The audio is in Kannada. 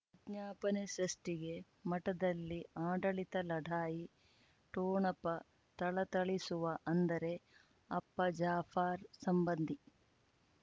ವಿಜ್ಞಾಪನೆ ಸೃಷ್ಟಿಗೆ ಮಠದಲ್ಲಿ ಆಡಳಿತ ಲಢಾಯಿ ಠೋಣಪ ಥಳಥಳಿಸುವ ಅಂದರೆ ಅಪ್ಪ ಜಾಫರ್ ಸಂಬಂಧಿ